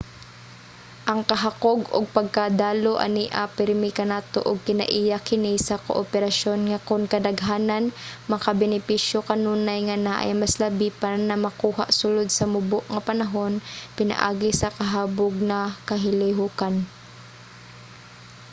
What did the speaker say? ang kahakog ug pagkadalo ania pirmi kanato ug kinaiya kini sa kooperasyon nga kun kadaghanan makabenepisyo kanunay nga naay mas labi pa na makuha sulod sa mubo nga panahon pinaagi sa kahabog na kalihukan